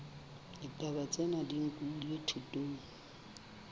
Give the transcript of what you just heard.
ditaba tsena di nkilwe thutong